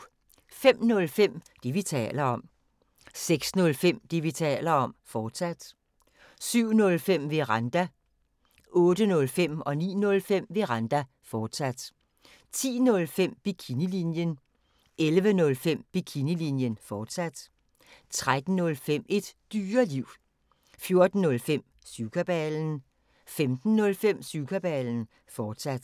05:05: Det, vi taler om 06:05: Det, vi taler om, fortsat 07:05: Veranda 08:05: Veranda, fortsat 09:05: Veranda, fortsat 10:05: Bikinilinjen 11:05: Bikinilinjen, fortsat 13:05: Et Dyreliv 14:05: Syvkabalen 15:05: Syvkabalen, fortsat